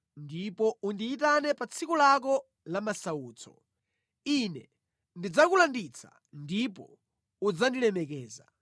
Ndipo undiyitane pa tsiku lako la masautso; Ine ndidzakulanditsa, ndipo udzandilemekeza.”